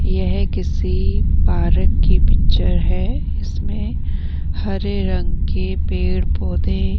यह किसी पार्क की पिक्चर है इसमें हरे रंग के पेड़ पौधे --